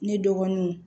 Ne dɔgɔninw